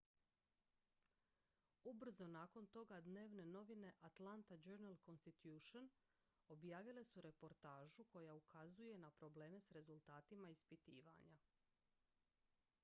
ubrzo nakon toga dnevne novine atlanta journal-constitution objavile su reportažu koja ukazuje na probleme s rezultatima ispitivanja